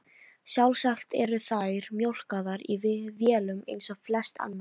Sjálfsagt eru þær mjólkaðar í vélum eins og flest annað.